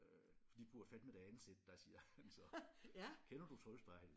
Øh for de burde fandeme da ansætte dig siger han så kender du Troldspejlet?